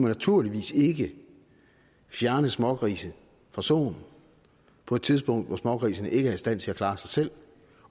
naturligvis ikke fjerne smågrise fra soen på et tidspunkt hvor smågrisene ikke er i stand til at klare sig selv